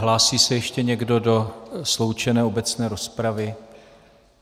Hlásí se ještě někdo do sloučené obecné rozpravy?